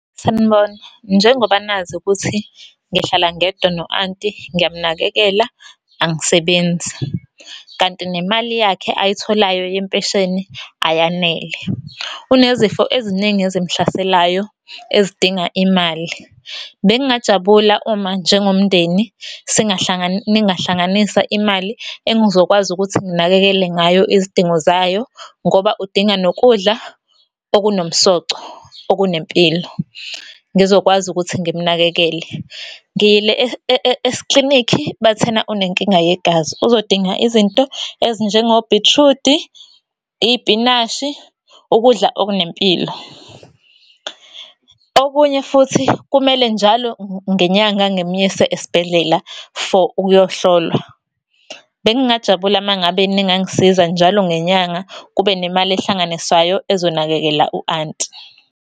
Sanibona, njengoba nazi ukuthi ngihlala ngedwa no-anti ngiyamunakekela, angisebenzi. Kanti nemali yakhe ayitholayo yempesheni ayanele. Unezifo eziningi ezimuhlaselayo ezidinga imali. Bengingajabula uma njengomndeni , ningahlanganisa imali, engizokwazi ukuthi nginakekele ngayo izidingo zayo. Ngoba udinga nokudla okunomsoco, okunempilo, ngizokwazi ukuthi ngimunakekele. Ngiyile eklinikhi, bathena unenkinga yegazi, uzodinga izinto ezinjengobhithrudi, iy'pinashi, ukudla okunempilo. Okunye futhi, kumele njalo ngenyanga, ngimuyise esibhedlela for ukuyohlolwa. Bengingajabula uma ngabe ningangisiza njalo ngenyanga, kube nemali ehlanganiswayo ezonakekela u-anti.